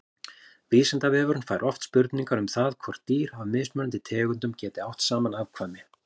Vísindavefurinn fær oft spurningar um það hvort dýr af mismunandi tegundum geti átt saman afkvæmi.